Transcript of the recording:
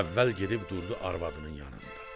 Əvvəl gedib durdu arvadının yanında.